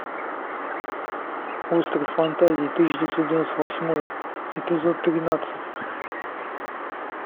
остров фантазий тысяча девятьсот девяносто восьмой эпизод тринадцать